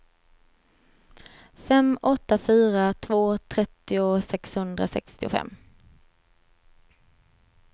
fem åtta fyra två trettio sexhundrasextiofem